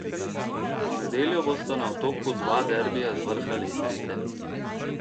V nedeljo bosta na Otoku dva derbija z vrha lestvice.